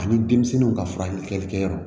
Ani denmisɛnninw ka furakɛlikɛyɔrɔ